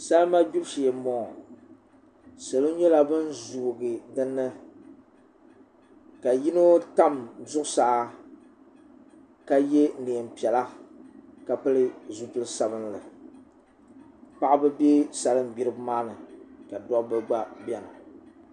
salima gbibu shee n boŋo salo nyɛla bin zoogi dinni ka yino tam zuɣusaa ka yɛ neen piɛla ka pili zipili sabinli paɣaba bɛ salin gbiribi maa ni ka dabba gba biɛni